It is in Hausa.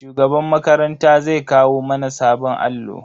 Shugaban makaranta zai kawo mana sabon allo.